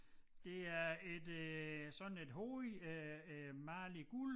Det er et øh sådan et hoved øh øh malet i guld